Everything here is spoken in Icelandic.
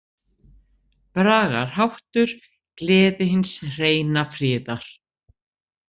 Bragarháttur: „Gleði hins hreina friðar“.